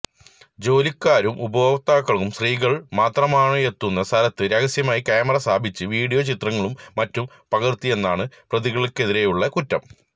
ജോലിക്കാരും ഉപഭോക്താക്കളും സ്ത്രീകള് മാത്രമായെത്തുന്ന സ്ഥലത്ത് രഹസ്യമായി കാമറ സ്ഥാപിച്ച് വീഡിയോ ചിത്രങ്ങളും മറ്റും പകര്ത്തിയെന്നാണ് പ്രതികള്ക്കെതിരെയുള്ള കുറ്റം